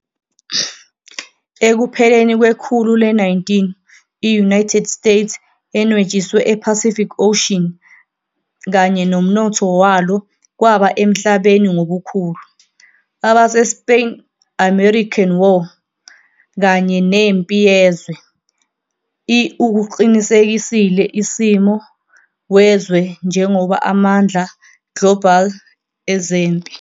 Ekupheleni kwekhulu le-19, i-United States enwetshiwe ePacific Ocean, kanye nomnotho walo kwaba emhlabeni ngobukhulu. AbaseSpain-American War kanye neMpi Yezwe I ukuqinisekisile isimo wezwe njengoba amandla global ezempi.